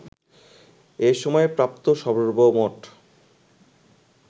এ সময়ে প্রাপ্ত সর্বমোট